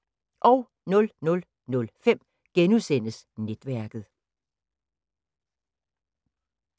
00:05: Netværket *